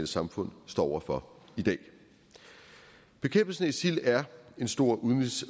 samfund står over for i dag bekæmpelsen af isil er en stor udenrigs